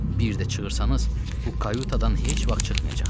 Bir də çığırsanız, bu kayutadan heç vaxt çıxmayacaqsınız.